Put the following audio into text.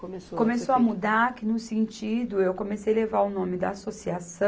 Começou. Começou a mudar que no sentido, eu comecei levar o nome da associação